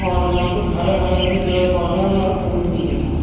और यहाँ कुछ हरे-हरे भी पेड़-पौधे हैं और यहाँ फूल भी हैं यहाँ।